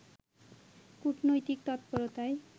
কূটনৈতিক তৎপরতায়